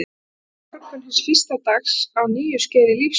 Og það er morgunn hins fyrsta dags á nýju skeiði lífs míns.